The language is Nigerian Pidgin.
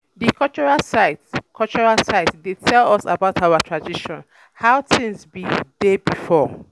Di um cultural site um cultural site dey tell us about our tradition, how tins bin um dey before.